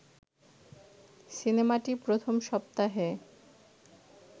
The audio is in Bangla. সিনেমাটি প্রথম সপ্তাহে